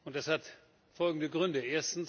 Das hat folgende Gründe.